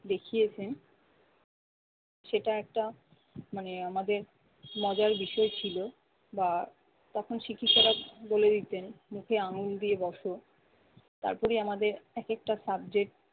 দেখিয়েছেন সেটা একটা মানে আমাদের মজার বিষয় ছিল বা তখন শিক্ষিকারা বলে দিতেন নিচে আঙ্গুল দিয়ে বসো। তারপরে আমাদের একেকটা subject